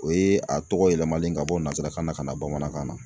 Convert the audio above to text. O ye a tɔgɔ yɛlɛmalen ka bɔ nanzarakan na ka na bamanankan na.